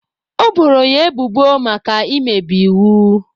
E boro ya ebubo maka imebi iwu.